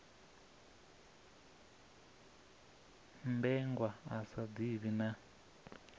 mmbengwa a sa ḓivhi na